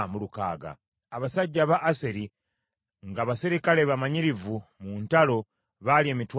abasajja aba Aseri, nga baserikale bamanyirivu mu ntalo baali emitwalo ena;